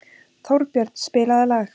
Þórbjörn, spilaðu lag.